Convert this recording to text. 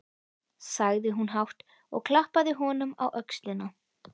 sagði hún hátt, og klappaði honum á öxlina.